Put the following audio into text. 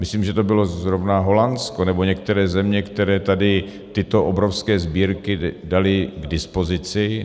Myslím, že to bylo zrovna Holandsko, nebo některé země, které tady tyto obrovské sbírky daly k dispozici.